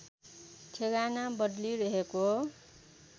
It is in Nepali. ठेगाना बदली रहेको